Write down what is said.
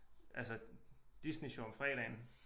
Altså Disney Sjov om fredagen